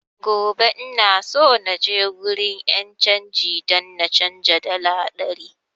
Gobe ina so naje wurin 'yan canji don na canza dala ɗari